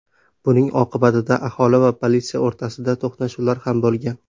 Buning oqibatida aholi va politsiya o‘rtasida to‘qnashuvlar ham bo‘lgan.